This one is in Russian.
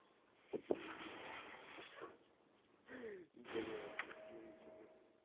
ха-ха блядь остановите мир